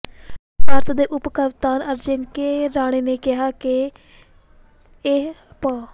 ਭਾਰਤ ਦੇ ਉੱਪ ਕਪਤਾਨ ਅਜਿੰਕੇ ਰਹਾਣੇ ਨੇ ਕਿਹਾ ਹੈ ਕਿ ਇਹ ਪ